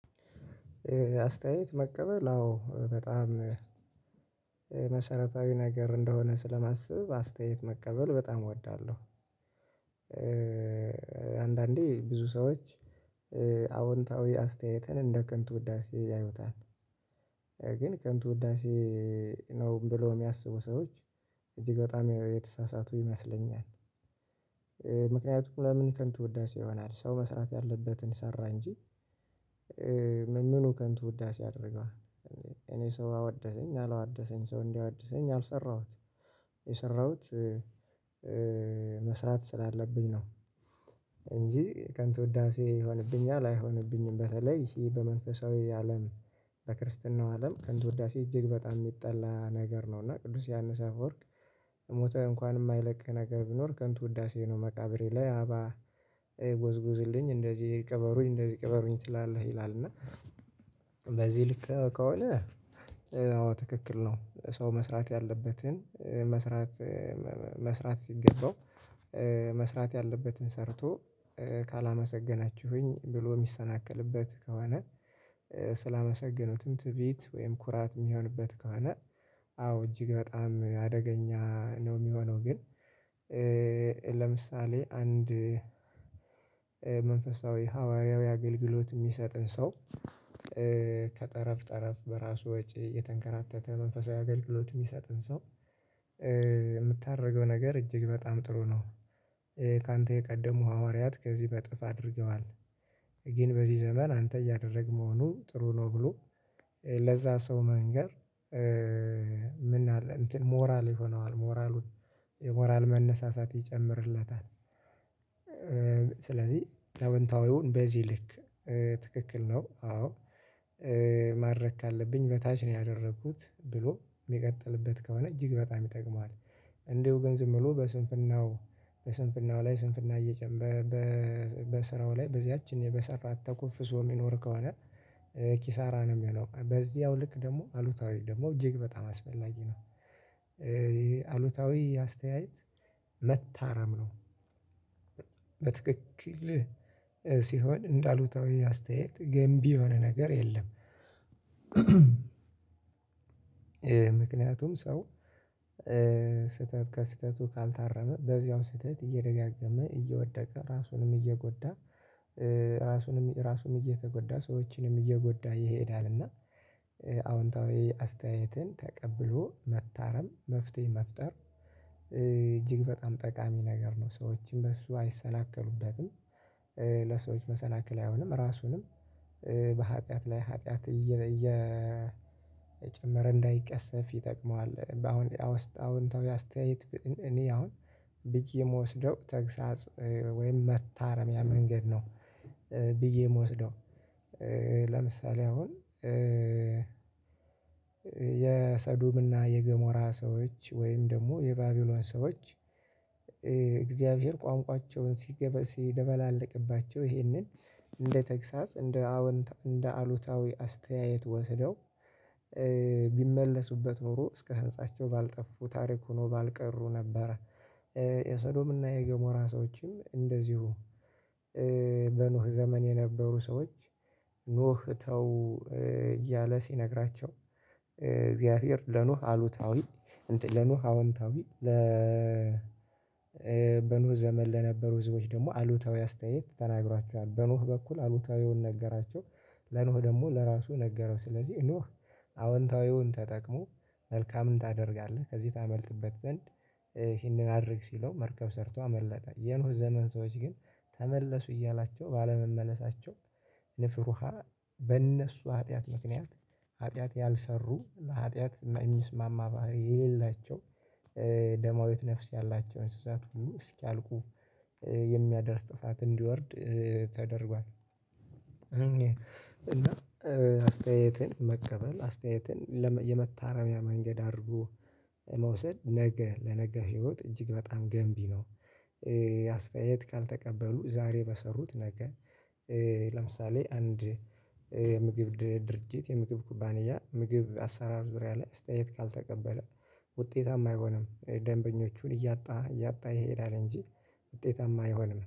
አስተያየት መቀበል አዎ፣ በጣም መሰረታዊ ነገር እንደሆነ ስለማስብ አስተያየት መቀበል በጣም እወዳለሁ። አንዳንዴ ብዙ ሰዎች አዎንታዊ አስተያየትን እንደ ከንቱ ውዳሴ ያዩታል። ግን ከንቱ ውዳሴ ነው ብሎ የሚያስቡ ሰዎች እጅግ በጣም የተሳሳቱ ይመስለኛል። ምክንያቱም ለምን ከንቱ ውዳሴ ይሆናል ሰው መስራት ያለበትን ሰራ እንጂ ምን ምኑ ከንቱ ውዳሴ ያድርገዋል። እኔ ሰው አወደሰኝ አላወደሰኝ ሰው እንዲያወድሰኝ አልሰራሁት የሰራሁት መስራት ስላለብኝ ነው እንጂ ከንቱ ውዳሴ ይሆንብኛል አይሆንብኝም። በተለይ ይሄ በመንፈሳዊ አለም በክርስትናው አለም ከንቱ ውዳሴ እጅግ በጣም የሚጠላ ነገር ነው እና ቅዱስ ዮሀንስ አፈወርቅ ሞተ እንኳን የማይለቅህ ነገር ቢኖር ከንቱ ውዳሴ ነው። መቃብሬ ላይ አበባ ጎዝጉዝልኝ እንደዚህ ቅበሩኝ እንደዚህ ቅበሩኝ ትላለህ ይላል እና በዚህ ልክ ከሆነ ትክክል ነው ሰው መስራት ያለበትን መስራት መስራት ሲገባው መስራት ያለበትን ሰርቶ ካላመሰገናችሁኝ ብሎ የሚሰናከልበት ከሆነ ስላመሰገኑትም ትዕቢት ወይም ኩራት የሚሆንበት ከሆነ አዎ፣ እጅግ በጣም አደገኛ ነው የሚሆነው ግን ለምሳሌ አንድ መንፈሳዊ ሐዋርያዊ አገልግሎት የሚሰጥን ሰው ከጠረፍ ጠረፍ በራሱ ወጪ የተንከራተተ መንፈሳዊ አገልግሎት የሚሰጥህን ሰው የምታደርገው ነገር እጅግ በጣም ጥሩ ነው። ካንተ የቀደሙ ሐዋርያት ከዚህ በጥፍ አድርገዋል። ግን በዚህ ዘመን አንተ እያደረግ መሆኑ ጥሩ ነው ብሎ ለዛ ሰው መንገር ምን አለ እንትን ሞራል ይሆነዋል። ሞራሉን የሞራል መነሳሳት ይጨምርለታል። ስለዚህ አዎንታዊውን በዚህ ልክ ትክክል ነው አዎ ማድረግ ካለብኝ በታች ነው ያደረኩት ብሎ ሚቀጥልበት ከሆነ እጅግ በጣም ይጠቅመዋል። እንደው ግን ዝም ብሎ በስንፍናው በስንፍናው ላይ ስንፍና እየጨመረ በስራው ላይ በዚያች እኔ በሰራት ተኮፍሶ ሰው ሚኖር ከሆነ ኪሳራ ነው የሚሆነው። በዚያው ልክ ደግሞ አሉታዊ ደግሞ እጅግ በጣም አስፈላጊ ነው። አሉታዊ አስተያየት መታረም ነው። በትክክል ሲሆን እንዳሉታዊ አስተያየት ገንቢ የሆነ ነገር የለም። ምክንያቱም ሰው ስህተት ከስህተቱ ካልታረመ በዚያው ስህተት እየደጋገመ እየወደቀ ራሱንም እየጎዳ ራሱንም ራሱንም እየተጎዳ ሰዎችንም እየጎዳ ይሄዳል እና አዎንታዊ አስተያየትን ተቀብሎ መታረም መፍትሄ መፍጠር እጅግ በጣም ጠቃሚ ነገር ነው። ሰዎችን በሱ አይሰናከሉበትም ለሰዎች መሰናከል አይሆንም። ራሱንም በሀጥያት ላይ ሀጥያት እየጨመረ እንዳይቀሰፍ ይጠቅመዋል። በአሁን አውንታው አስተያየት እኔ አሁን ብዬ የምወስደው ተግሳጽ ወይም መታረሚያ መንገድ ነው። ብዬ የምወስደው። ለምሳሌ አሁን የሰዱብና የገሞራ ሰዎች ወይም ደግሞ የባቢሎን ሰዎች እግዚአብሔር ቋንቋቸውን ሲደበላልቅባቸው ይህንን እንደ ተግሳጽ እንደ አዎንታ አሉታዊ አስተያየት ወስደው ቢመለሱበት ኖሮ እስከ ህንፃቸው ባልጠፉ ታሪክ ሆኖ ባልቀሩ ነበረ። የሰዶምና የገሞራ ሰዎችም እንደዚሁ በኖህ ዘመን የነበሩ ሰዎች ኖህ ተው እያለ ሲነግራቸው እግዚአብሔር ለኖህ አሉታዊ ለኖህ አወንታዊ ለ በኖህ ዘመን ለነበሩ ህዝቦች ደግሞ አሉታዊ አስተያየት ተናግሯቸዋል። በኖህ በኩል አሉታዊውን ነገራቸው ለኖህ ደግሞ ለራሱ ነገረው። ስለዚህ ኖህ አዎንታዊውን ተጠቅሞ መልካምን ታደርጋለህ፤ ከዚህ ታመልጥበት ዘንድ ይህንን አድርግ ሲለው መርከብ ሰርቶ አመለጠ። የኖህ ዘመን ሰዎች ግን ተመለሱ እያላቸው ባለመመለሳቸው ንፍር ውሃ በእነሱ ኃጢአት ምክንያት ኃጢአት ያልሰሩ ኃጢአት የሚስማማ ባህሪ የሌላቸው ደማዊት ነፍስ ያላቸው እንስሳት እስኪያልቁ የሚያደርስ ጥፋት እንዲወርድ ተደርጓል። እና አስተያየትን መቀበል አስተያየትን የመታረሚያ መንገድ አድርጎ መውሰድ ነገ ለነገ ህይወት እጅግ በጣም ገንቢ ነው። አስተያየት ካልተቀበሉ ዛሬ በሰሩት ነገ ለምሳሌ አንድ የምግብ ድርጅት የምግብ ኩባንያ ምግብ አሰራር ዙሪያ ላይ አስተያየት ካልተቀበለ ውጤታማ አይሆንም። ደንበኞቹን እያጣ እያጣ ይሄዳል እንጂ ውጤታማ አይሆንም።